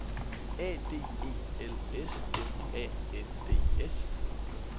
A D E L S M A N D S